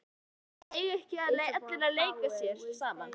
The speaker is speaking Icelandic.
Helga: En eiga ekki allir að leika sér saman?